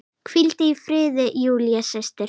Hvíldu í friði, Júlía systir.